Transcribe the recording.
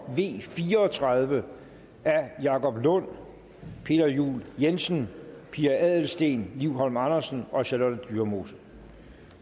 v fire og tredive af jacob lund peter juel jensen pia adelsteen liv holm andersen og charlotte dyremose